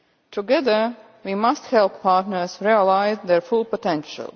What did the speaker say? Together we must help partners realise their full potential.